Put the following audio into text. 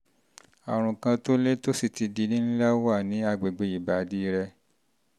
àrùn kan tó le tó sì ti di ńlá wà ní àgbègbè ìbàdí rẹ